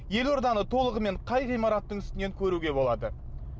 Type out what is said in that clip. елорданы толығымен қай ғимараттың үстінен көруге болады